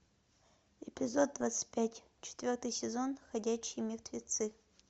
эпизод двадцать пять четвертый сезон ходячие мертвецы